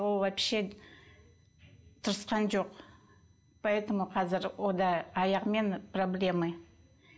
ол вообще тырысқан жоқ поэтому қазір аяғымен проблемы